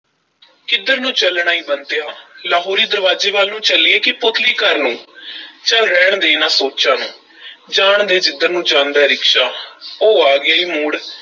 ਕਿੱਧਰ ਨੂੰ ਚੱਲਣਾ ਈ, ਬੰਤਿਆ? ਲਾਹੌਰੀ ਦਰਵਾਜ਼ੇ ਵੱਲ ਨੂੰ ਚੱਲੀਏ ਕਿ ਪੁਤਲੀ ਘਰ ਨੂੰ ਚੱਲ ਰਹਿਣ ਦੇ ਇਹਨਾਂ ਸੋਚਾਂ ਨੂੰ ਜਾਣ ਦੇ ਜਿੱਧਰ ਨੂੰ ਜਾਂਦਾ ਐ ਰਿਕਸ਼ਾ ਉਹ ਆ ਗਿਆ ਈ ਮੋੜ।